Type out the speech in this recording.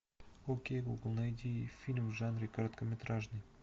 окей гугл найди фильм в жанре короткометражный